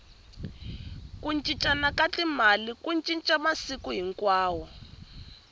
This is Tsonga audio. ku cincana ka timali ku cinca masiku hinkwawo